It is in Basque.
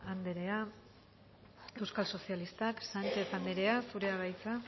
anderea euskal sozialistak sánchez anderea zurea da hitza